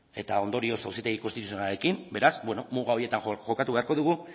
eta ondorioz auzitegi konstituzionalarekin beraz muga horietan jokatu beharko dugu